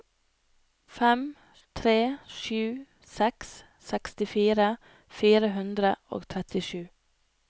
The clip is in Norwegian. fem tre sju seks sekstifire fire hundre og trettisju